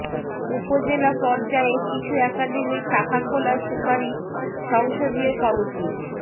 উপজেলা পর্যায়ে শিশু একাডেমির শাখা খোলার সুপারিশ সংসদীয় কমিটির